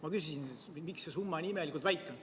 Ma küsisin, miks see summa nii imelikult väike on.